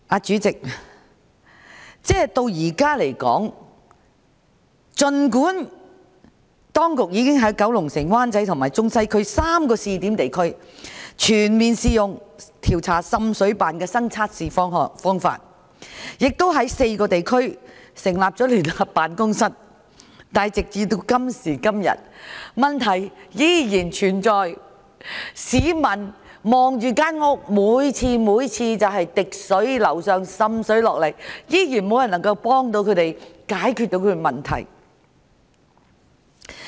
主席，儘管當局現時已經在九龍城、灣仔和中西區3個試點地區，全面採用新測試方法調查滲水，亦在4個地區成立了聯合辦公室，但時至今日問題依然存在，不少市民家中仍然滴水、滲水，卻無人能幫助他們解決問題。